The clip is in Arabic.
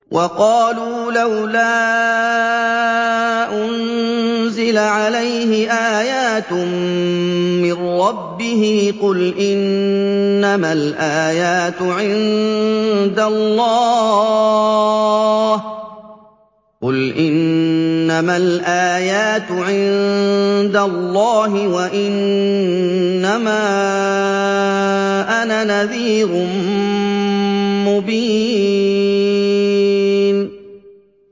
وَقَالُوا لَوْلَا أُنزِلَ عَلَيْهِ آيَاتٌ مِّن رَّبِّهِ ۖ قُلْ إِنَّمَا الْآيَاتُ عِندَ اللَّهِ وَإِنَّمَا أَنَا نَذِيرٌ مُّبِينٌ